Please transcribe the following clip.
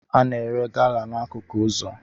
A na-ere gala n'akụkụ ụzọ